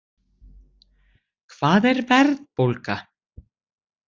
Hvað er verðbólga?